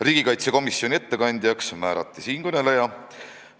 Riigikaitsekomisjoni ettekandjaks määrati siinkõneleja.